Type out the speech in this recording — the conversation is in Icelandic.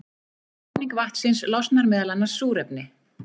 Við klofning vatnsins losnar meðal annars súrefni.